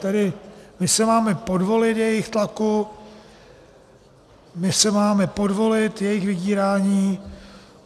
Tedy my se máme podvolit jejich tlaku, my se máme podvolit jejich vydírání.